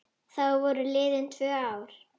Þá voru liðin tvö ár.